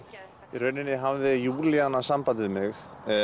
í rauninni hafði Júlíana samband við mig